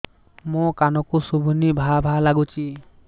ମୋ କାନକୁ ଶୁଭୁନି ଭା ଭା ଲାଗୁଚି